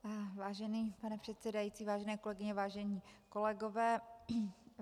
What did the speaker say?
Vážený pane předsedající, vážené kolegyně, vážení kolegové.